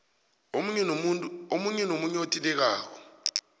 omunye nomunye othintekako